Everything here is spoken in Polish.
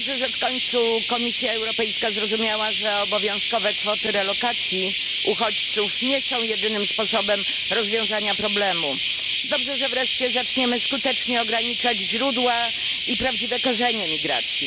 Dobrze, że w końcu Komisja Europejska zrozumiała, że obowiązkowe kwoty relokacji uchodźców nie są jedynym sposobem rozwiązania problemu. Dobrze, że wreszcie zaczniemy skutecznie ograniczać źródła i prawdziwe korzenie migracji.